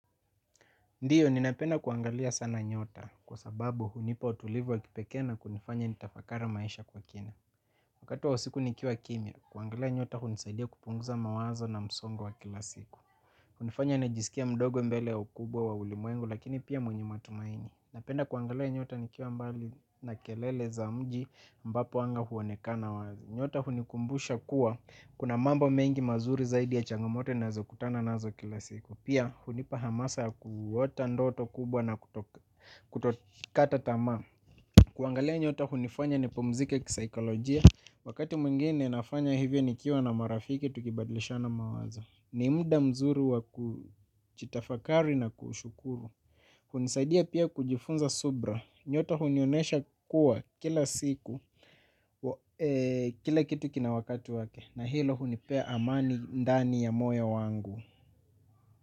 Ndiyo, ninapenda kuangalia sana nyota, kwa sababu hunipa utulivu wa kipekee na kunifanya nitafakara maisha kwa kina. Wakati wa usiku nikiwa kimya, kuangalia nyota hunisaidia kupunguza mawazo na msongo wa kila siku. Hunifanya najiskie mdogo mbele ya ukubwa wa ulimwengu, lakini pia mwenye matumaini. Napenda kuangalia nyota nikiwa mbali na kelele za mji ambapo anga huonekana wazi. Nyota hunikumbusha kuwa, kuna mambo mengi mazuri zaidi ya changamoto ninazokutana nazo kila siku. Pia hunipa hamasa ya kuota ndoto kubwa na kutokata tamaa. Kuangalia nyota hunifanya nipumzike kisaikolojia. Wakati mwingine nafanya hivyo nikiwa na marafiki tukibadlishana mawazo. Ni muda mzuri wa kuchitafakari na kushukuru. Hunisaidia pia kujifunza subra. Nyota hunionesha kuwa kila siku, kila kitu kina wakati wake. Na hilo hunipea amani ndani ya moyo wangu.